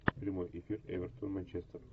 прямой эфир эвертон манчестер